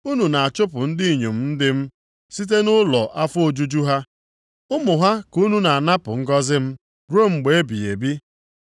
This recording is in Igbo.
Unu na-achụpụ ndị inyom ndị m site nʼụlọ afọ ojuju ha. Ụmụ ha ka unu na-anapụ ngọzị m ruo mgbe ebighị ebi.